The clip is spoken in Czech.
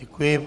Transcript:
Děkuji.